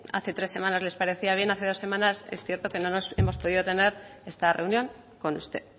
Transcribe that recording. hace tres semanas les parecía bien hace dos semanas es cierto que no hemos podido tener esta reunión con usted